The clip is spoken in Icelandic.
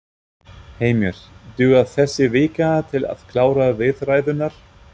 Heimir: Dugar þessi vika til að klára viðræðurnar?